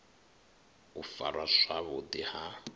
u farwa zwavhu ḓi ha